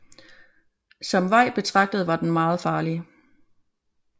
Som vej betragtet var den meget farlig